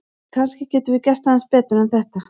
En kannski getum við gert aðeins betur en þetta!